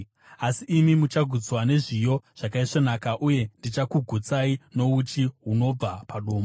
Asi imi muchagutswa nezviyo zvakaisvonaka; uye ndichakugutsai nouchi hunobva padombo.”